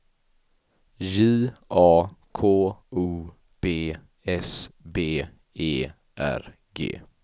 J A K O B S B E R G